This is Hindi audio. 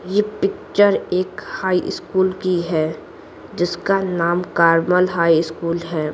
ये पिक्चर एक हाई स्कूल की है जिसका नाम कारमल हाई स्कूल है।